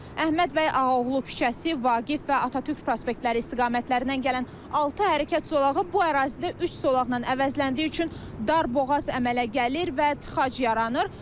Əhməd bəy Ağaoğlu küçəsi, Vaqif və Atatürk prospektləri istiqamətlərindən gələn altı hərəkət zolağı bu ərazidə üç zolaqla əvəzləndiyi üçün dar boğaz əmələ gəlir və tıxac yaranır.